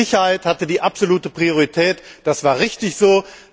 Die Sicherheit hatte die absolute Priorität, das war richtig so.